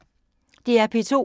DR P2